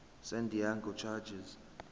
san diego chargers